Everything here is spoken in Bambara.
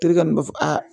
Terikɛ min b'a fɔ a